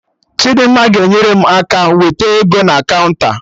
Chidimma ga-enyere m aka wete ego na kaụnta